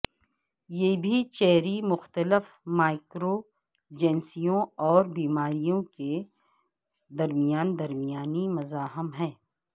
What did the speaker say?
یہ بھی چیری مختلف مائکروجنسیوں اور بیماریوں کے درمیان درمیانی مزاحم ہے